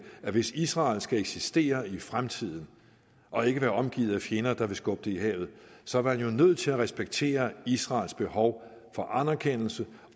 at hvis israel skal eksistere i fremtiden og ikke være omgivet af fjender der vil skubbe det i havet så er man jo nødt til at respektere israels behov for anerkendelse